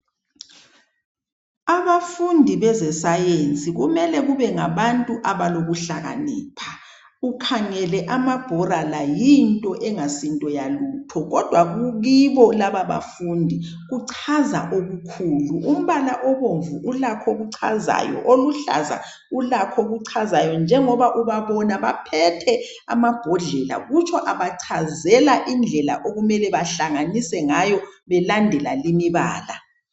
Abafundi bezesayensi kumele kube ngabantu abalokuhlakanipha. Ukhangele amabhola la yinto engasinto lutho kodwa kibo lababafundi kuchaza okukhulu. Umbala obomvu ulakho okuchazayo oluhlazo ulakho okuchazayo njengoba ubabona baphethe amabhodlela kutsho abachazela indlela okumele bahlanganise ngayo belandela imibala.